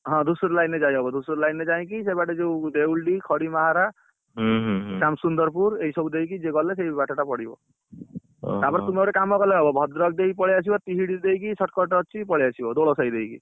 ହଁ, ଧୂସରି line ଯାଇହବ Dhusuri line ରେ ଯାଇକି ସେଇବାଟେ ଯୋଉ ଦେଉଳି ଖଡିମାହାରା ସମସୁନ୍ଦର ପୁର ଏଇ ସବୁ ଦେଇକି ଗଲେ ସେଇ ବାଟ ଟା ପଡିବ। ତାପରେ ତୁ ଗୋଟେ କମ କଲେ ହବ ଭଦ୍ରକ ଦେଇକି ପଳେଇଆସିବ ତିହିଡି ଦେଇକି shortcut ଅଛି ପଳେଇଆସିବ ଦୋଳ ସାଇ ଦେଇକି।